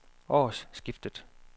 årsskiftet